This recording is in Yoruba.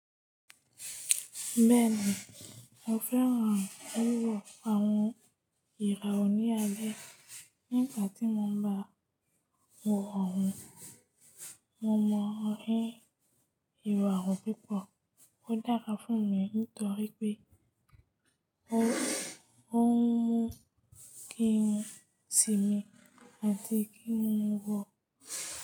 Bẹ́ẹ̀ni, mo fẹ́ràn wíwọ àwọn ìràwọ̀ ní alẹ́. Nígbà tí mo ń ba wò wọ̀n, mo mọ̀ ọ́n rí ìwà ọ̀ púpọ̀. Ó dára fún mi nítorí pé ó ń mú kí n sinmi àti kí n wò.